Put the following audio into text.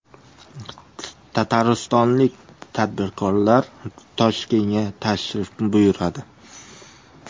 Tataristonlik tadbirkorlar Toshkentga tashrif buyuradi.